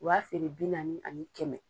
O b'a feere bi naani ani kɛmɛ.